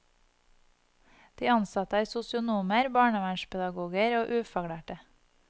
De ansatte er sosionomer, barnevernspedagoger og ufaglærte.